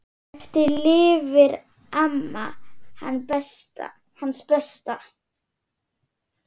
Eftir lifir amma, hans besta.